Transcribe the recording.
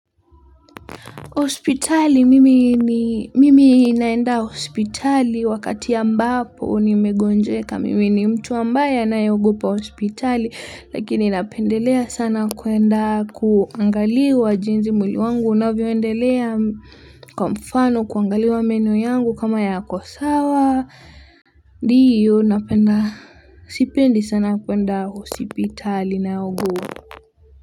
Hospitali mimi ni mimi naenda hospitali wakati ambapo nimegonjeka mimi ni mtu ambaye anayeogopa hospitali lakini napendelea sana kuenda kuangaliwa jinsi mwili wangu unavyoendelea kwa mfano kuangaliwa meno yangu kama yako sawa. Ndiyo napenda sipendi sana kuenda hospitali na ugu.